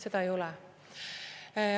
Seda ei ole.